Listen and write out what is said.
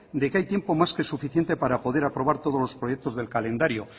de que hay tiempo más que suficiente para poder aprobar todos los proyectos del calendario